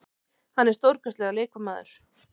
Hann er stórkostlegur leikmaður.